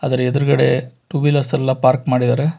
ಆದರ ಎದುರುಗಡೆ two wheelers park ಮಾಡಿದರೆ.